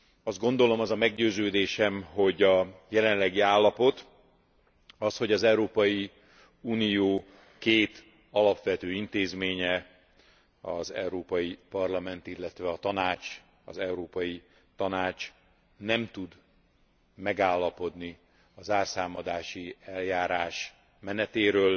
Azt gondolom, az a meggyőződésem, hogy a jelenlegi állapot, az, hogy az Európai Unió két alapvető intézménye, az Európai Parlament, illetve a Tanács, az Európai Tanács nem tud megállapodni a zárszámadási eljárás menetéről,